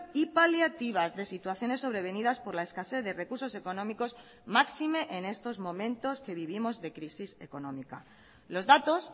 y paliativas de situaciones sobrevenidas por la escasez de recursos económicos máxime en estos momentos que vivimos de crisis económica los datos